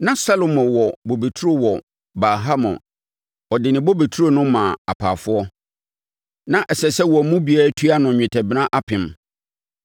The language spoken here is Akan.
Na Salomo wɔ bobeturo wɔ Baal-Hamon; ɔde ne bobeturo no maa apaafoɔ. Na ɛsɛ sɛ wɔn mu biara tua no nnwetɛbena apem.